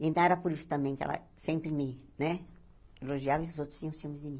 Então, era por isso também que ela sempre me né elogiava e os outros tinham ciúmes de mim.